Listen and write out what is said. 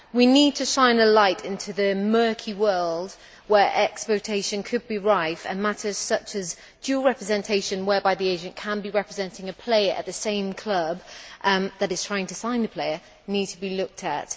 We need to shine a light into the murky world where exploitation could be rife and matters such as dual representation, whereby the agent can be representing a player at the same club that is trying to sign the player, need to be looked at.